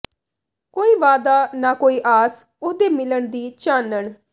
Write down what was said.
ਕੋਈ ਵਾਅਦਾ ਨਾ ਕੋਈ ਆਸ ਉਹਦੇ ਮਿਲਣ ਦੀ ਚਾਨਣ